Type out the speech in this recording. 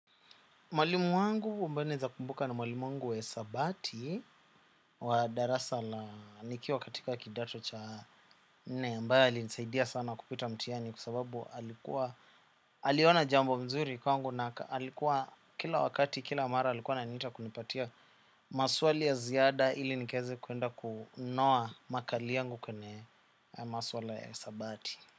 Mwalimu wangu ambaye naeza kumbuka ni mwalimu wangu wa hisabati wa darasa la nikiwa katika kidato cha ambaye alisaidia sana kupita mtihani kwa sababu alikuwa aliona jambo mzuri kwangu na alikuwa kila wakati kila mara alikuwa ananiita kunipatia maswali ya ziada ili nikaeze kuenda kunoa makali yangu kwenye maswala ya hisabati.